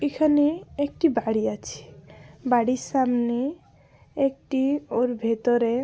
এখানে একটি বাড়ি আছে। বাড়ির সামনে একটি ওর ভেতরে।